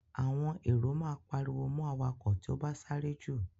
Àwọn èrò máa pariwo mọ awakọ̀ tí ó bá sáré jù.